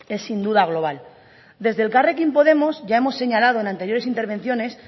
es sin duda global desde elkarrekin podemos ya hemos señalado en anteriores intervenciones